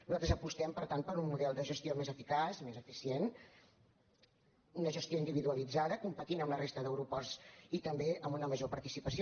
nosaltres apostem per tant per un model de gestió més eficaç més eficient una gestió individualitzada competint amb la resta d’aeroports i també amb una major participació